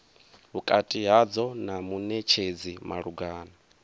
vhukati hadzo na munetshedzi malugana